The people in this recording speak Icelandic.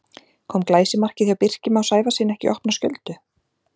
Kom glæsimarkið hjá Birki Má Sævarssyni ekki í opna skjöldu?